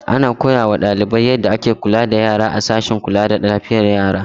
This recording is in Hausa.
Ana koya wa ɗalibai yadda ake kula da yara a sashen kula da lafiyar yara.